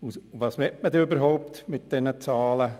Was will man dann überhaupt mit diesen Zahlen?